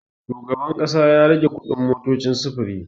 Shugaban ƙasa ya rage kuɗin motocin sufuri.